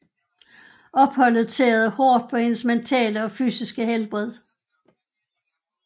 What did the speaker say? Opholdet tærede hårdt på hendes mentale og fysiske helbred